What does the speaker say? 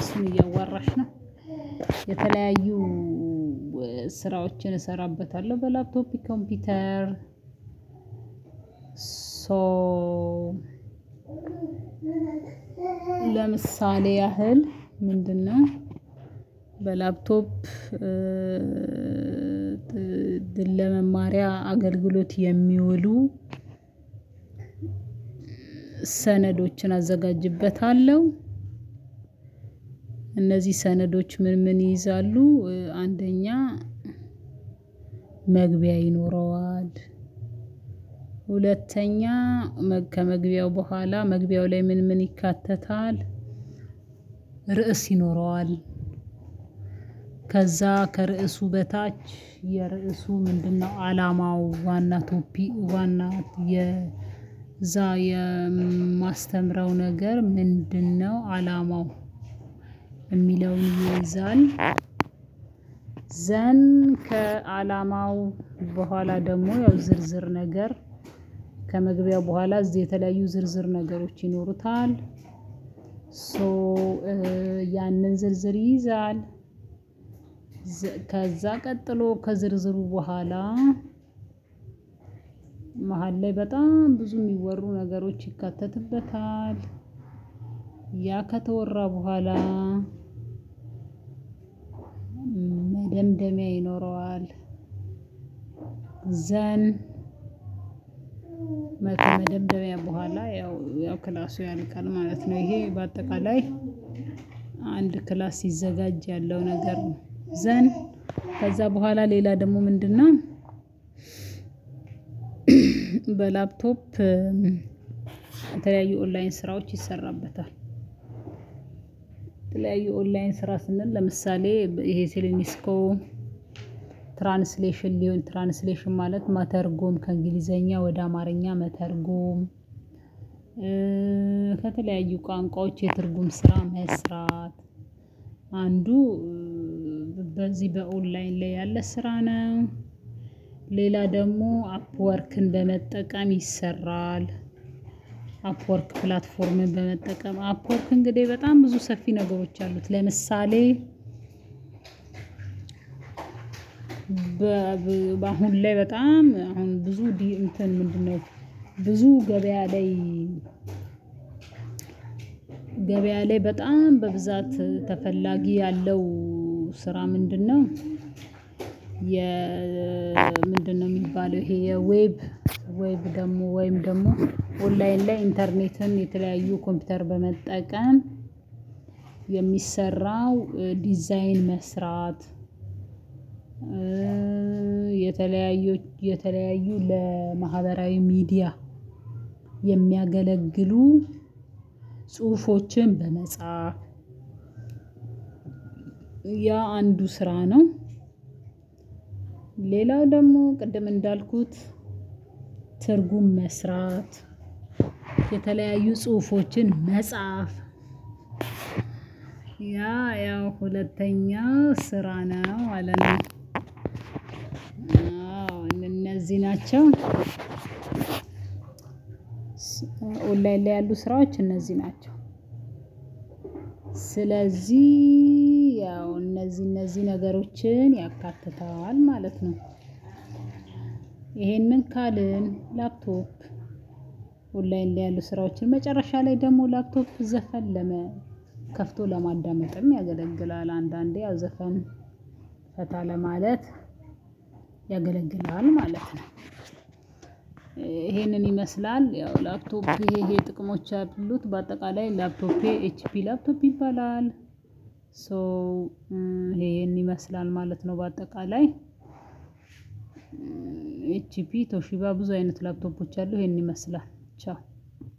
እሱን እያዋራሽ ነው። የተለያዩ ስራዎችን እሰራበታለሁ በላፕቶፕ ኮምፒውተር። ሶ ለምሳሌ ያህል ምንድነው? በላፕቶፕ ድል ለመማሪያ አገልግሎት የሚውሉ ሰነዶችን አዘጋጅበታለሁ። እነዚህ ሰነዶች ምን ምን ይይዛሉ? አንደኛ መግቢያ ይኖረዋል። ሁለተኛ ከመግቢያው በኋላ መግቢያው ላይ ምን ምን ይካተታል? ርዕስ ይኖረዋል። ከዛ ከርዕሱ በታች የርዕሱ ምንድነው አላማው ዋና ቶፒክ ዋና የዛ የማስተምረው ነገር ምንድነው? አላማው የሚለው ይይዛል። ዘን ከአላማው በኋላ ደግሞ ያው ዝርዝር ነገር ከመግቢያው በኋላ እዚህ የተለያዩ ዝርዝር ነገሮች ይኖሩታል። ሶ ያንን ዝርዝር ይይዛል። ከዛ ቀጥሎ ከዝርዝሩ በኋላ መሃል ላይ በጣም ብዙ የሚወሩ ነገሮች ይካተትበታል። ያ ከተወራ በኋላ መደምደሚያ ይኖረዋል። ዘን መደምደሚያ በኋላ ያው ክላሱ ያልቃል ማለት ነው። ይሄ በአጠቃላይ አንድ ክላስ ሲዘጋጅ ያለው ነገር ነው። ዘን ከዛ በኋላ ሌላ ደግሞ ምንድን ምንድነው? በላፕቶፕ የተለያዩ ኦንላይን ስራዎች ይሰራበታል። የተለያዩ ኦንላይን ስራ ስንል ለምሳሌ ይሄ ሴሌኒስኮ ትራንስሌሽን ሊሆን ትራንስሌሽን ማለት መተርጎም ከእንግሊዘኛ ወደ አማርኛ መተርጉም። ከተለያዩ ቋንቋዎች የትርጉም ስራ መስራት አንዱ በዚህ በኦንላይን ላይ ያለ ስራ ነው። ሌላ ደሞ አፕዎርክን በመጠቀም ይሰራል። አፕወርክ ፕላትፎርምን በመጠቀም አፕወርክ እንግዲህ በጣም ብዙ ሰፊ ነገሮች አሉት። ለምሳሌ በአሁን ላይ በጣም አሁን ብዙ እንትን ምንድነው? ብዙ ገበያ ላይ ገበያ ላይ በጣም በብዛት ተፈላጊ ያለው ስራ ምንድነው? የ ምንድነው የሚባለው ይሄ የዌብ ዌብ ደግሞ ወይም ደግሞ ኦንላይን ላይ ኢንተርኔትን የተለያዩ ኮምፒውተር በመጠቀም የሚሰራው ዲዛይን መስራት። የተለያዩ የተለያዩ ለማህበራዊ ሚዲያ የሚያገለግሉ ጽሁፎችን በመጻፍ ያ አንዱ ስራ ነው። ሌላው ደግሞ ቅድም እንዳልኩት ትርጉም መስራት የተለያዩ ጽሁፎችን መጻፍ ያ ያው ሁለተኛው ስራ ነው ማለት ነው። አዎ እነዚህ ናቸው። ኦንላይን ላይ ያሉ ስራዎች እነዚህ ናቸው። ስለዚህ ያው እነዚህ እነዚህ ነገሮችን ያካትታል ማለት ነው። ይሄንን ካልን ላፕቶፕ ኦንላይን ላይ ያሉ ስራዎችን መጨረሻ ላይ ደግሞ ላፕቶፕ ዘፈን ለመ ከፍቶ ለማዳመጥም ያገለግላል። አንዳንዴ ያው ዘፈን ፈታ ለማለት ያገለግላል ማለት ነው። ይሄንን ይመስላል ያው ላፕቶፕ ይሄ ይሄ ጥቅሞች አሉት በአጠቃላይ ላፕቶፕ ኤችፒ ላፕቶፕ ይባላል። ሶ ይሄን ይመስላል ማለት ነው። በአጠቃላይ ኤችፒ ቶሺባ ብዙ አይነት ላፕቶፖች አሉ ይሄን ይመስላል። ቻው